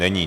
Není.